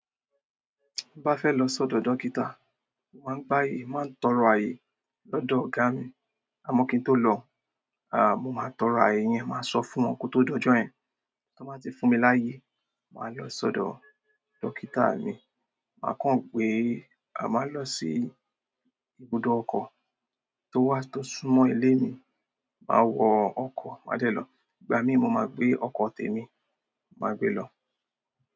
Bá fẹ́ lọ sọ́dọ̀ dókítà, màá gbáyé, màá tọrọ ààyè lọ́dọ̀ ọ̀gá mi, amọ́ kí n tó lọ, à, mo máa tọrọ ààyè yẹn, màá sọ fún wọn kó tó dojọ́ yẹn. Tọ bá ti fún mi láyé, màá lọ sọ́dọ̀ dókítà mi, màá kàn gbé àmà lọ sí ibùdó ọkọ́ tó wà tó súnmọ́ ilé mi, màá wọ ọkọ́, màá dẹ̀ lọ. Ìgbà mí mo máa gbé okọ́ tèmi, màá gbé lọ.